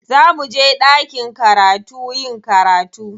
Za muje ɗakin karatu yin karatu.